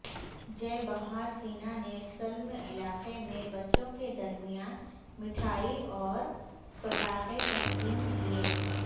جئے بہارسینا نے سلم علاقہ میں بچوں کے درمیان میٹھائی اورپٹاخے تقسیم کیے